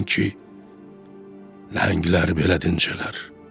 Yəqin ki, nəhənglər belə dincələr.